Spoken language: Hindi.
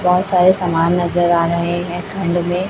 बहोत सारे समान नजर आ रहे हैं खंड में--